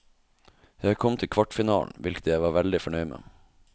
Jeg kom til kvartfinalen, hvilket jeg var veldig fornøyd med.